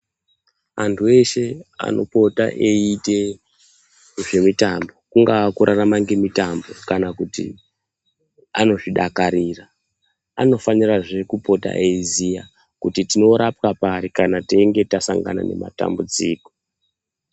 Andu eshe anopota eyitee zvemitambo kungava kurarama ngemutambo kana kuti anozvidakarira anofanira zvee kupota eyiziyaa kuti tinorapwa pari kana teinge tasangana nematambudziko